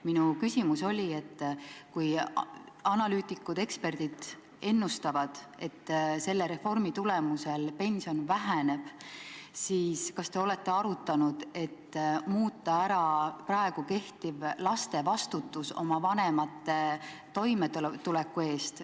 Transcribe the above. Minu küsimus oli, et kui analüütikud-eksperdid ennustavad, et selle reformi tagajärjel pension väheneb, siis kas te olete arutanud, et võiks muuta praegu kehtivat laste vastutust oma vanemate toimetuleku eest.